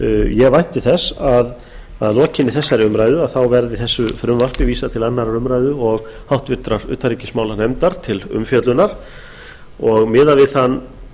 ég vænti þess að að lokinni þessari umræðu verði þessu frumvarpi vísað til annarrar umræðu og háttvirtrar utanríkismálanefndar til umfjöllunar og miðað við